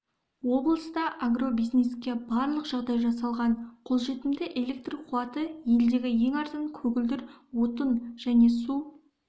облыста агробизнеске барлық жағдай жасалған қолжетімді электр қуаты елдегі ең арзан көгілдір отын және су